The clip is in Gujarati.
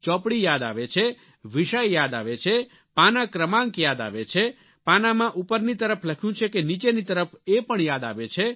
ચોપડી યાદ આવે છે વિષય યાદ આવે છે પાનાં ક્રમાંક યાદ આવે છે પાનાંમાં ઉપરની તરફ લખ્યું છે કે નીચેની તરફ એ પણ યાદ આવે છે